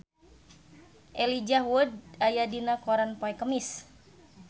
Elijah Wood aya dina koran poe Kemis